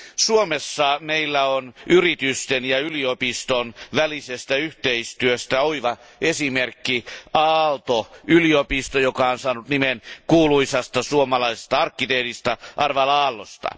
Suomessa meillä on yritysten ja yliopiston välisestä yhteistyöstä oiva esimerkki, Aalto yliopisto, joka on saanut nimensä kuuluisan suomalaisen arkkitehdin Alvar Aallon mukaan.